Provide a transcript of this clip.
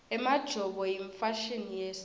emajobo yimfashini yesintfu